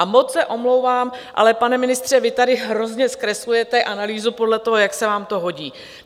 A moc se omlouvám, ale pane ministře, vy tady hrozně zkreslujete analýzu podle toho, jak se vám to hodí.